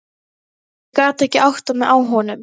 Ég gat ekki áttað mig á honum.